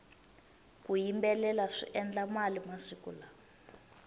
ku yimbelela swi endla mali masiku lawa